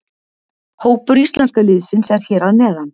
Hópur íslenska liðsins er hér að neðan.